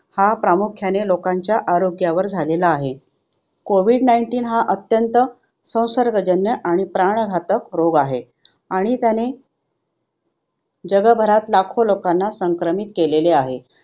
हा प्रामुख्याने लोकांच्या आरोग्यावर झालेला आहे. कोविड nineteen हा अत्यंत संसर्गजन्य आणि प्राणघातक रोग आहे आणि त्यांने जगभरात लाखो लोकांना संक्रमित केलेले आहे.